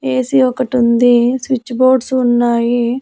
ఏసి ఒకటి ఉంది switch boards ఉన్నాయి.